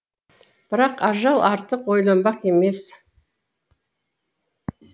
бірақ ажал артық ойланбақ емес